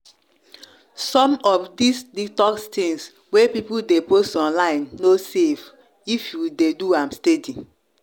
some of these detox things wey people dey post online no safe if you dey do am steady.